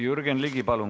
Jürgen Ligi, palun!